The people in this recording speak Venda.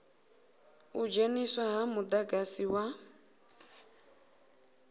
u dzheniswa ha mudagasi wa